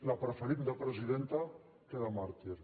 la preferim de presidenta que de màrtir